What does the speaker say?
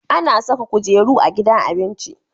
Ana Saka kujeru a gidan abinji